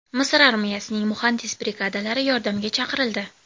Misr armiyasining muhandis brigadalari yordamga chaqirildi.